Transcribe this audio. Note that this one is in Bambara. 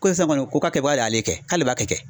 Ko sisan kɔni ko a kɛ baga le ye ale kɛ k'ale b'a kɛ kɛ.